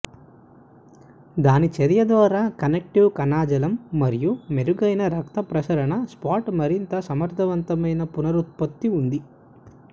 దాని చర్య ద్వారా కనెక్టివ్ కణజాలం మరియు మెరుగైన రక్త ప్రసరణ స్పాట్ మరింత సమర్ధవంతమైన పునరుత్పత్తి ఉంది